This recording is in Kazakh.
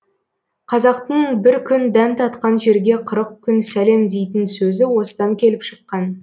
қазақтың бір күн дәм татқан жерге қырық күн сәлем дейтін сөзі осыдан келіп шыққан